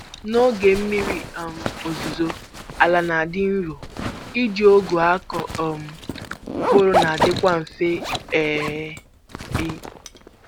N'oge mmiri um ozuzo, ala na-adị nro, iji ọgụ akụ um mkpụrụ nadikwa mfe. um